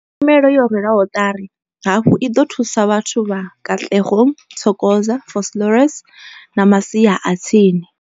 Tshumelo yo rwelwaho ṱari hafhu i ḓo thusa vhathu vha Katlehong, Thokoza, Vosloorus na masia a tsini.